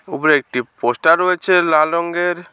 উপরে একটি পোস্টার রয়েছে লাল রঙ্গের ।